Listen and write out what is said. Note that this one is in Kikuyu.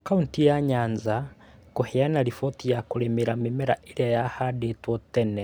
Kauntĩ ya Nyanza kũheana riboti ya kũrĩmĩra mĩmera ĩrĩa yahandetwo tene